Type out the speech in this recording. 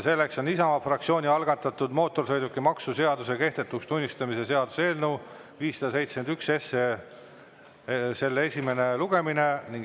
Selleks on Isamaa fraktsiooni algatatud mootorsõidukimaksu seaduse kehtetuks tunnistamise seaduse eelnõu 571 esimene lugemine.